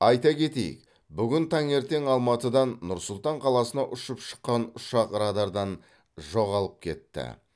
айта кетейік бүгін таңертең алматыдан нұр сұлтан қаласына ұшып шыққан ұшақ радардан жоғалып кетті